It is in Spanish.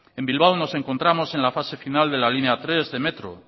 en bilbao nos encontramos en la fase final de la línea tres de metro